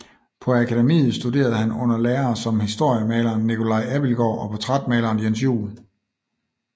På akademiet studerede han under lærere som historiemaleren Nicolai Abildgaard og portrætmaleren Jens Juel